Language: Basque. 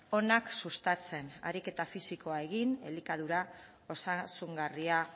onak sustatzen ariketa fisikoa egin elikadura osasungarria